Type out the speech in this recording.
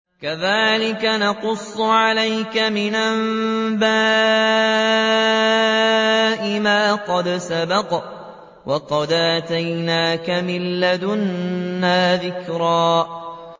كَذَٰلِكَ نَقُصُّ عَلَيْكَ مِنْ أَنبَاءِ مَا قَدْ سَبَقَ ۚ وَقَدْ آتَيْنَاكَ مِن لَّدُنَّا ذِكْرًا